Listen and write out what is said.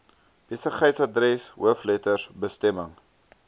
besigheidsadres hoofletters bestemming